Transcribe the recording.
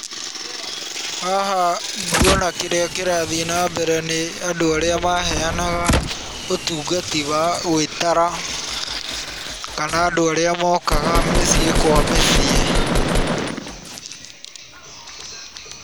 Haha nguona kĩrĩa kĩrathiĩ na mbere nĩ andũ arĩa maheanaga ũtungati wa gwĩtara kana andũ arĩa mokaga mĩcĩi kwa mĩciĩ.